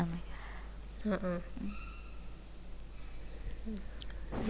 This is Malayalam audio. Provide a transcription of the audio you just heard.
ആ ആഹ്